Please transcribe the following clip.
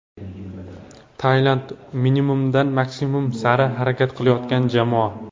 Tailand: minimumdan maksimum sari harakat qilayotgan jamoa.